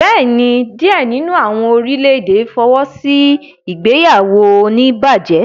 Bẹẹni, diẹ nínú awọn orilẹ-ède fọwọsi ìgbéyàwó onibaje?